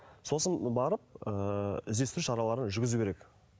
сосын барып ыыы іздестіру шараларын жүргізу керек